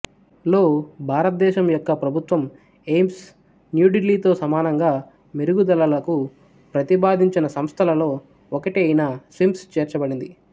లో భారతదేశం యొక్క ప్రభుత్వం ఎయిమ్స్ న్యూ ఢిల్లీతో సమానంగా మెరుగుదలలకు ప్రతిపాదించిన సంస్థలలో ఒకటి అయిన స్విమ్స్ చేర్చబడింది